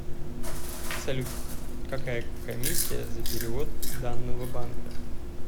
салют какая комиссия за перевод данного банка